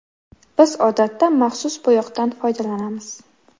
Biz odatda maxsus bo‘yoqdan foydalanamiz.